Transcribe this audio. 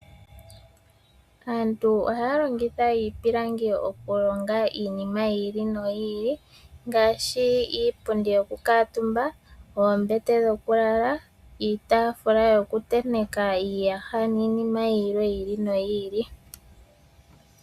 Aantu ohaya longitha iipilingi okulonga iinima yiili no yiili, ngaashi iipundi yokukuutumba, oombete dhokulala, iitaafula yokutenteka iiyaha nii nima yilwe yiili no yiili.